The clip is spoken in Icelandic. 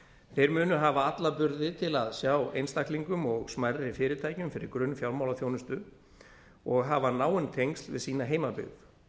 þeir munu hafa alla burði til sjá einstaklingum og smærri fyrirtækjum fyrir grunnfjármálaþjónustu og hafa náin tengsl við sína heimabyggð